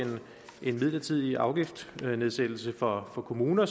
en midlertidig afgiftsnedsættelse for kommuner